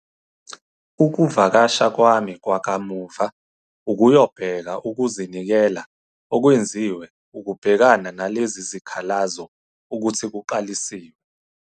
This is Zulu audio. Ukuvakasha kwami kwakamuva ukuyobheka ukuzinikela okwenziwe ukubhekana nalezi zikhalazo ukuthi kuqalisiwe.